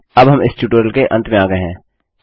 अब हम इस ट्यूटोरियल के अंत में आ गये हैं